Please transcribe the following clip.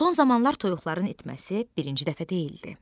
Son zamanlar toyuqların itməsi birinci dəfə deyildi.